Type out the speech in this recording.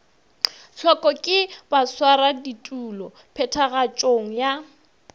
hloko ke baswaraditulo phethagatšong ya